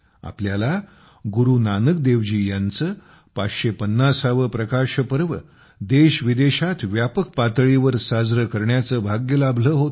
आपल्याला गुरु नानकदेवजी यांचे 550वे प्रकाश पर्व देशविदेशात व्यापक पातळीवर साजरे करण्याचे भाग्य लाभले होते